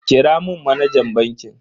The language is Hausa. Kira mun manajan bankin.